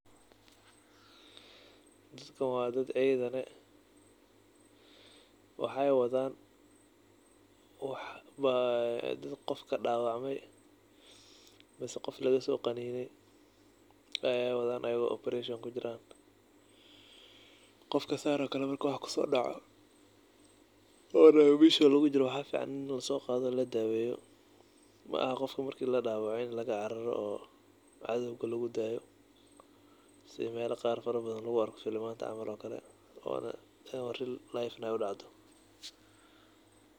Dadkan waa dad ciidan ah. Waxaay wadaan wax aa dad qof ka dhaawacamay mise qof laga soo qaniinay ayaay wadaan ayigoo operation kujiran. Qofka saan ookale marka wax kusoo dhaco, oona meesha lugu jiro waxaa ficaan in la soo qaado, la daaweeyo. Ma'aha qofka markii la dhaawacay in laga cararo oo cadowga lugu daayo si meelo qaar farabadan lugu arko sida filimaanta camal ookale oona ama real life camal in ay u dhacdo.